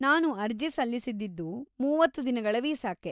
ನಾನು ಅರ್ಜಿ ಸಲ್ಲಿಸಿದ್ದಿದ್ದು ಮೂವತ್ತು ದಿನಗಳ ವೀಸಾಕ್ಕೆ.